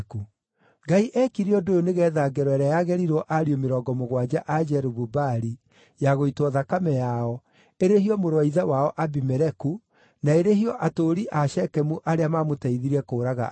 Ngai eekire ũndũ ũyũ nĩgeetha ngero ĩrĩa yagerirwo ariũ mĩrongo mũgwanja a Jerubu-Baali, ya gũitwo thakame yao, ĩrĩhio mũrũ wa ithe wao, Abimeleku, na ĩrĩhio atũũri a Shekemu arĩa maamũteithirie kũũraga ariũ a ithe.